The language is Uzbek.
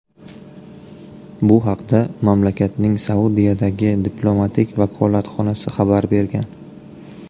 Bu haqda mamlakatning Saudiyadagi diplomatik vakolatxonasi xabar bergan .